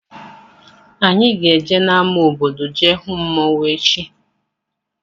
Anyị ga-eje n' ámá obodo jee hụ mmanwụ echi.